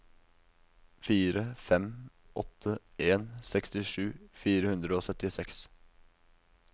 fire fem åtte en sekstisju fire hundre og syttiseks